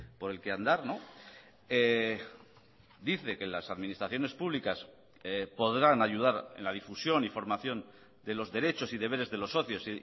por el que andar dice que las administraciones públicas podrán ayudar en la difusión y formación de los derechos y deberes de los socios